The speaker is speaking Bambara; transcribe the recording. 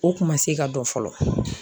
O kun ma se ka dɔn fɔlɔ.